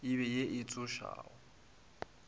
e be ye e tsošago